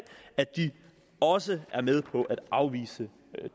at de også er med på at afvise